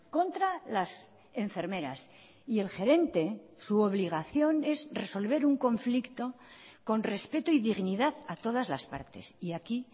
contra las enfermeras y el gerente su obligación es resolver un conflicto con respeto y dignidad a todas las partes y aquí